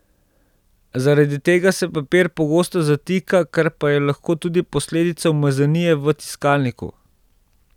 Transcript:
Zaradi tega se papir pogosto zatika, kar pa je lahko tudi posledica umazanije v tiskalniku.